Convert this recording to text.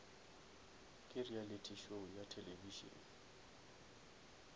ke reality show ya television